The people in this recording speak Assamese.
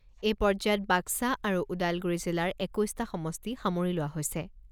এই পৰ্যায়ত বাক্সা আৰু ওদালগুৰি জিলাৰ একৈছটা সমষ্টি সামৰি লোৱা হৈছে।